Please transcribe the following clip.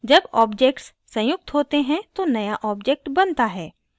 जब objects संयुक्त होते हैं तो नया objects बनता है